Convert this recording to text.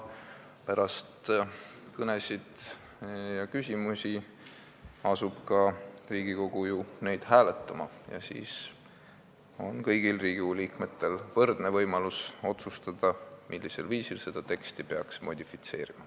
Pärast kõnesid ja küsimusi asub Riigikogu neid ka hääletama ning siis on kõigil Riigikogu liikmetel võrdne võimalus otsustada, millisel viisil peaks seda teksti modifitseerima.